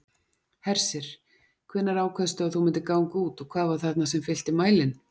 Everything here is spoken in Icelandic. Hersir: Hvenær ákvaðstu að þú myndir ganga út og hvað var þarna sem fyllti mælinn?